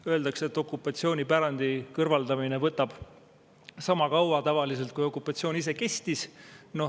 Öeldakse, et okupatsioonipärandi kõrvaldamine võtab tavaliselt sama kaua, kui okupatsioon ise kestis.